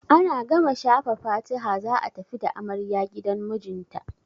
Ana gama shafa fatiha za a tafi da amarya gidan mijinta.